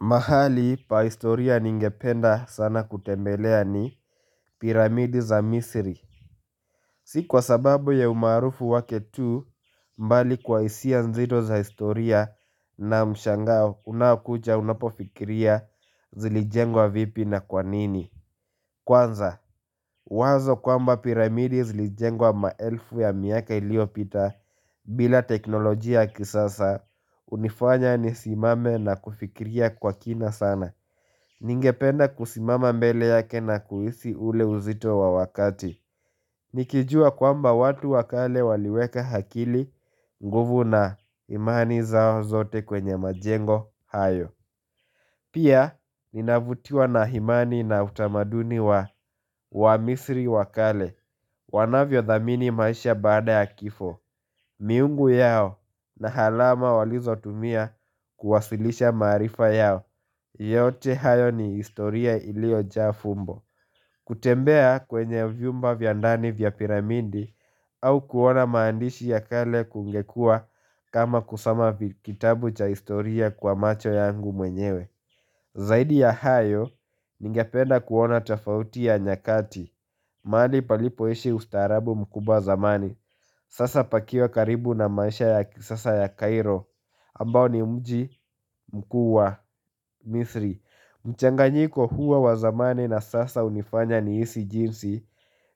Mahali pa historia ningependa sana kutembelea ni piramidi za misiri. Si kwa sababu ya umaarufu wake tu mbali kwa hisia nzito za historia na mshangao unaokuja unapofikiria zilijengwa vipi na kwanini. Kwanza, wazo kwamba piramidi zilijengwa maelfu ya miaka iliyopita bila teknolojia kisasa hunifanya nisimame na kufikiria kwa kina sana. Ningependa kusimama mbele yake na kuhisi ule uzito wa wakati. Nikijua kwamba watu wakale waliweka hakili nguvu na imani zao zote kwenye majengo hayo. Pia, ninavutiwa na himani na utamaduni wa wa misri wakale, wanavyo dhamini maisha baada ya kifo, miungu yao na halama walizotumia kuwasilisha maarifa yao, yote hayo ni historia ilio jaa fumbo. Kutembea kwenye vyumba vya ndani vya piramindi au kuona maandishi ya kale kungekua kama kusoma kitabu cha historia kwa macho yangu mwenyewe. Zaidi ya hayo, ningependa kuona tofauti ya nyakati mahali palipoishi ustarabu mkubwa zamani Sasa pakiwa karibu na maisha ya kisasa ya Cairo ambao ni mji mkuu wa, misri mchanganyiko huwa wa zamani na sasa hunifanya nihisi jinsi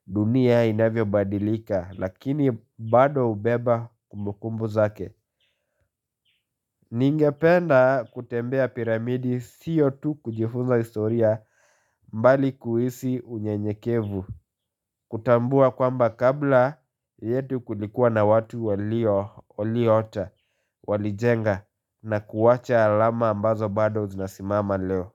dunia inavyobadilika, lakini bado hubeba kumbukumbu zake Ningependa kutembea piramidi, siyo tu kujifunza historia mbali kuhisi unyenyekevu kutambua kwamba kabla yetu kulikuwa na watu walio Walijenga na kuwacha alama ambazo bado zinasimama leo.